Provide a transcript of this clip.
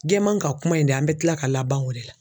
Jɛman ka kuma in de an bɛ kila ka laban o de la.